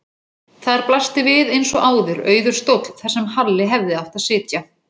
Þar blasti við eins og áður auður stóll þar sem Halli hefði átt að sitja.